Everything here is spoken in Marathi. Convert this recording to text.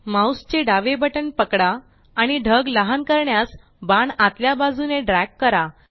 माउस चे डावे बटण पकडा आणि ढग लहान करण्यास बाण आतल्या बाजूने ड्रॅग करा